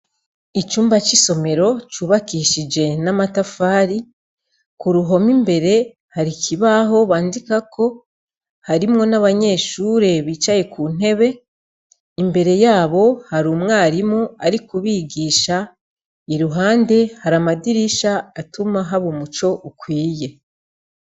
Icumba c'isomero cubakishije n'amatafari, k'uruhome imbere hari ikibaho bandikako, harimwo n'abanyeshure bicaye kuntebe imbere yabo har'umwarimu arikubigisha, iruhande har’ amadirisha atuma haba umuco ukwiye.